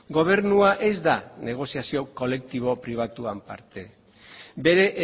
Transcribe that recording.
gobernua ez da negoziazio kolektibo pribatuan parte bere